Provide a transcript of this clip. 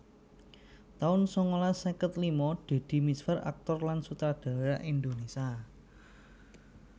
taun sangalas seket lima Deddy Mizwar aktor lan sutradara Indonésia